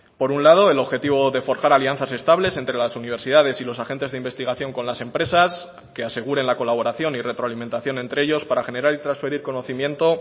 por un lado el objetivo de forjar alianzas estables entre las universidades y los agentes de investigación con las empresas que aseguren la colaboración y retroalimentación entre ellos para generar y transferir conocimiento